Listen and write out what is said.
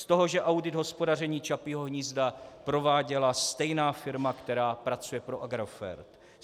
Z toho, že audit hospodaření Čapího hnízda prováděla stejná firma, která pracuje pro Agrofert.